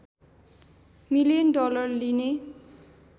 million dollar लिने